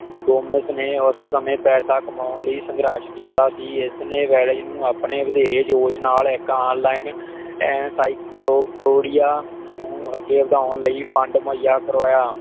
ਡੋਮਸ ਨੇ ਉਸ ਸਮੇਂ ਪੈਸਾ ਕਮਾਉਣ ਲਈ ਸੰਗਰਸ਼ ਕੀਤਾ ਸੀ ਇਸ ਨੇ ਵੈਲਜ਼ ਨੂੰ ਵਧੇਰੇ ਜੋਸ਼ ਨਾਲ ਐਕਹਾਲੀਂਨ ਇੰਨਸਇਕਲੋ ਪੀਡੀਆਂ ਨੂੰ ਅਗੇ ਵਧਾਉਣ ਲਈ Fund ਮੋਹਿਆ ਕਰਵਾਇਆ